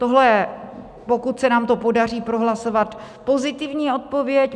Tohle je, pokud se nám to podaří prohlasovat, pozitivní odpověď.